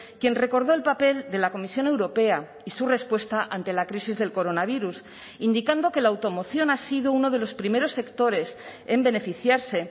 quien recordó el papel de la comisión europea y su respuesta ante la crisis del coronavirus indicando que la automoción ha sido uno de los primeros sectores en beneficiarse